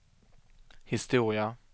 historia